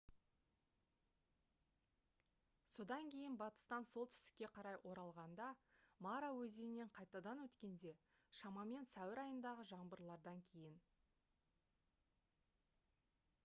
содан кейін батыстан солтүстікке қарай оралғанда мара өзенінен қайтадан өткенде шамамен сәуір айындағы жаңбырлардан кейін